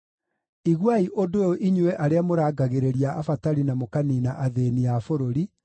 Iguai ũndũ ũyũ inyuĩ arĩa mũrangagĩrĩria abatari na mũkaniina athĩĩni a bũrũri,